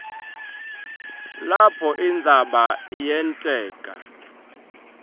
lapho indzaba yenteka